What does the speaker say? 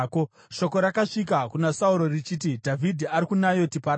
Shoko rakasvika kuna Sauro richiti, “Dhavhidhi ari kuNayoti paRama.”